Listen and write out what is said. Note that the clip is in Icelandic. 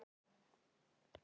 Örn þó.